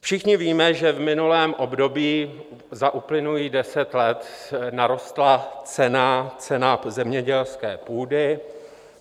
Všichni víme, že v minulém období za uplynulých deset let narostla cena zemědělské půdy.